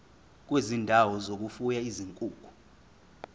kwezindawo zokufuya izinkukhu